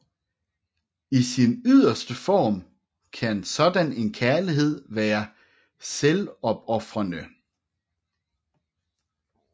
I sin yderste form kan sådan en kærlighed være selvopofrende